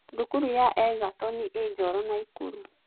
Thukuru ya Egerton ĩĩ Njooro Naikuru.